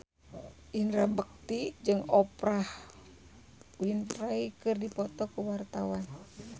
Indra Bekti jeung Oprah Winfrey keur dipoto ku wartawan